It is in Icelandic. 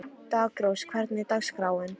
Daggrós, hvernig er dagskráin?